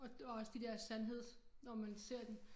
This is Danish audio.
Og også de der sandheds når man ser dem